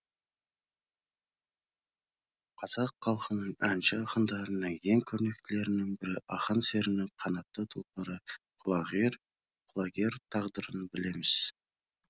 қазақ халқының әнші ақындарының ең көрнектілерінің бірі ақан серінің қанатты тұлпары құлагер тағдырын білеміз